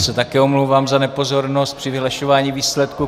Já se také omlouvám za nepozornost při vyhlašování výsledků.